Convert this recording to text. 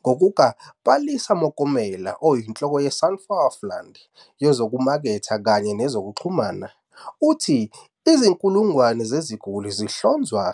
Ngokuka-Palesa Mokomele, oyinhloko yeSunflower Fund yezokumaketha kanye nezokuxhumana, uthi izinkulungwane zeziguli zihlonzwa